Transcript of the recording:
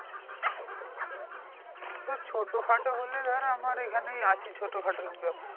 ধর ছোট খাটো হলে ধর আমার এখানেই আছে চোটখাটোর ব্যাবসা।